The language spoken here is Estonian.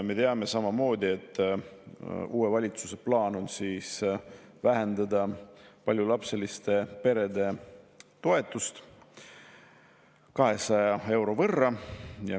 Me teame samamoodi, et uue valitsuse plaan on vähendada paljulapseliste perede toetust 200 euro võrra.